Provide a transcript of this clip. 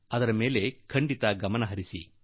ಅದರ ಮೇಲೆ ನೀವು ಖಂಡಿತಾ ಗಮನ ಹರಿಸಿ